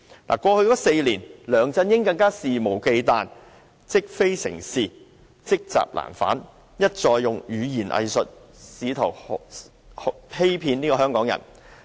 在過去4年，梁振英更加肆無忌憚，積非成是，積習難返，一再運用語言"偽術"試圖欺騙香港人。